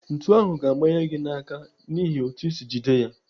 Ntu ahụ ga-amanye gị n'aka n'ihi otú isi jide ya.